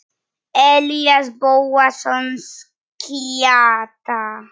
Elías Bóasson skytta.